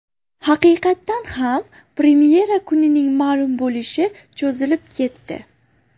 Haqiqatan ham, premyera kunining ma’lum bo‘lishi cho‘zilib ketdi.